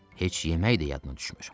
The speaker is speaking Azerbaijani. Heç yemək də yadına düşmür.